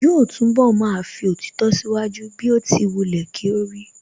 Yóò túnbọ̀ máa fi òtítọ́ ṣíwájú bí ó ti wulẹ̀ kí ó rí